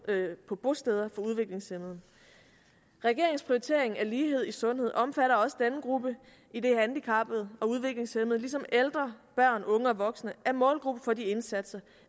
på bosteder for udviklingshæmmede regeringens prioritering af lighed i sundhed omfatter også denne gruppe idet handicappede og udviklingshæmmede ligesom ældre børn unge og voksne er målgruppe for de indsatser